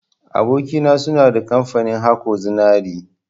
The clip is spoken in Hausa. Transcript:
Aboki na, suna da kamfani haƙo zinari.